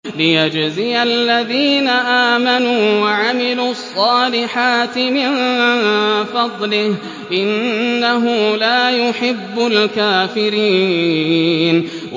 لِيَجْزِيَ الَّذِينَ آمَنُوا وَعَمِلُوا الصَّالِحَاتِ مِن فَضْلِهِ ۚ إِنَّهُ لَا يُحِبُّ الْكَافِرِينَ